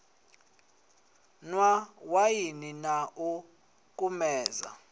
nwa waini na u kumedza